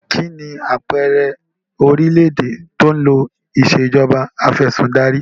Kínní àpẹẹrẹ orílédé tí ó ń lo ìsèjọba afẹ̀sindarí?